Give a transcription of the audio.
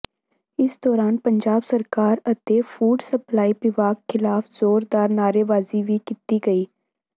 ਇਸ ਦੌਰਾਨ ਪੰਜਾਬ ਸਰਕਾਰ ਅਤੇ ਫੂਡ ਸਪਲਾਈ ਵਿਭਾਗ ਖਿਲਾਫ਼ ਜ਼ੋਰਦਾਰ ਨਾਅਰੇਬਾਜ਼ੀ ਵੀ ਕੀਤੀ ਗਈ